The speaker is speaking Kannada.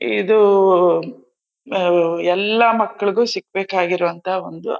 ಇದು ಎಲ್ಲ ಮಕ್ಕಳಿಗೂ ಸಿಗ್ಬೇಕಾಗಿರೋಂಥಾ ಒಂದು--